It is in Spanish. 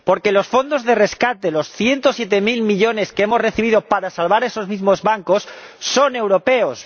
Porque los fondos de rescate, los ciento siete mil millones que hemos recibido para salvar esos mismos bancos son europeos.